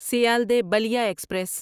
Sealdah Ballia express